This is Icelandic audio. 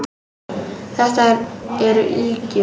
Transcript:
Þetta eru ýkjur!